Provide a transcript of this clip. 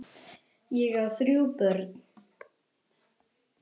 Ég á þrjú börn.